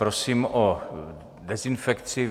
Prosím o dezinfekci.